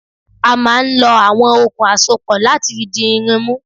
A máa ń lọ àwọn okùn àsopọ̀ láti fi di irin mú.